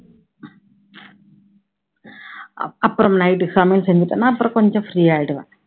அப் அப்பறம் night சமையல் செஞ்சுட்டேன்னா அப்பறம் கொஞ்சம் free ஆயிடுவேன்